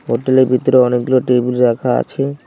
Hotel -এর ভিতরে অনেকগুলো টেলিব রাখা আছে।